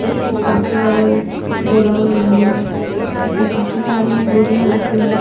ये काफी बड़ा एक गोडाउन बना हुआ है इसमें काफी सारी बोरिया रखी हुयी है.